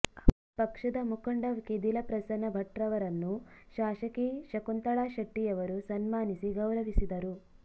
ಪಕ್ಷದ ಮುಖಂಡ ಕೆದಿಲ ಪ್ರಸನ್ನ ಭಟ್ರವರನ್ನು ಶಾಸಕಿ ಶಕುಂತಳಾ ಶೆಟ್ಟಿಯವರು ಸನ್ಮಾನಿಸಿ ಗೌರವಿಸಿದರು